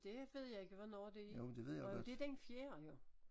Det ved jeg ikke hvornår det er nåh jo det den fjerde jo